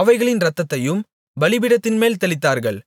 அவைகளின் இரத்தத்தையும் பலிபீடத்தின்மேல் தெளித்தார்கள்